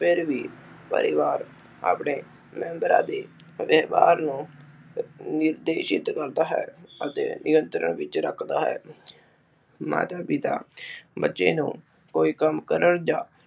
ਫਿਰ ਵੀ ਪਰਿਵਾਰ ਆਪਣੇ ਨਿਯੰਤ੍ਰਾ ਦੀ ਅਤੇ ਵਿਵਹਾਰ ਨੂੰ ਨਿਰਦੇਸ਼ਿਤ ਕਰਦਾ ਹੈ ਅਤੇ ਨਿਯੰਤਰਣ ਵਿਚ ਰੱਖਦਾ ਹੈ ਮਾਤਾ ਪਿਤਾ ਬੱਚੇ ਨੂੰ ਕੋਈ ਕੰਮ ਕਰਨ ਜਾਂ